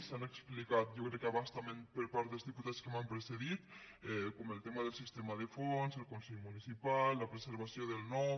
s’han explicat jo crec que a bastament per part dels diputats que m’han precedit com el tema del sistema de fons el consell municipal la preservació del nom